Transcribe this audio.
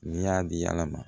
N'i y'a di ala ma